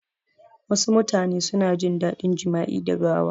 Wasu mutane suna jin dadin jama'i da gawa